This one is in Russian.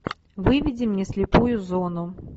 выведи мне слепую зону